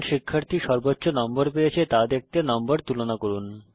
কোন শিক্ষার্থী সর্বোচ্চ নম্বর পেয়েছে তা দেখতে নম্বর তুলনা করুন